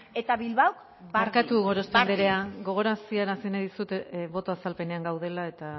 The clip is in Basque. eta bilbaok barkatu gorospe anderea gogorarazi nahi dizut boto azalpenean gaudela eta